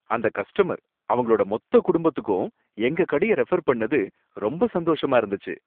அந்த கஸ்டமர் அவங்களோட மொத்த குடும்பத்துக்கும் எங்க கடையை ரெஃபர் பண்ணது ரொம்ப சந்தோஷமா இருந்துச்சு.